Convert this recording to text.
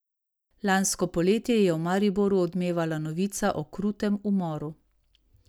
Lansko poletje je v Mariboru odmevala novica o krutem umoru.